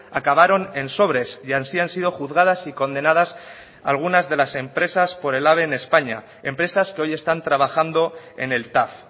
acabaron en sobres y así han sido juzgadas y condenadas algunas de las empresas por el ave en españa empresas que hoy están trabajando en el tav